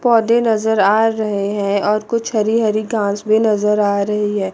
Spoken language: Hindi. पौधे नजर आ रहे हैं और कुछ हरी हरी घास भी नजर आ रही है।